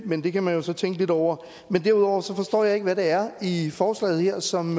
men det kan man jo så tænke lidt over derudover forstår jeg ikke hvad det er i forslaget her som